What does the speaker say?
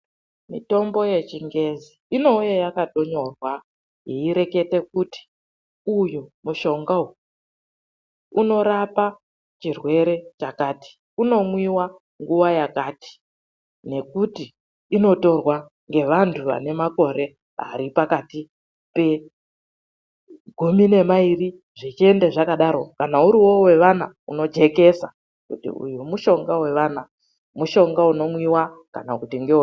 Mitombo yechingezi, inouya yakatonyorwa. Yeirekete kuti uyu mushonga uyu unorapa chirwere chakati. Unomwiwa nguwa yakati nekuti inotorwa ngeanthu ane makore ari pakati pegumi nemairi zvechienda zvakadaro, kana uriwo wevana unojekesa kuti uyu mushonga wevana, mushonga unomwiwa, kana kuti ...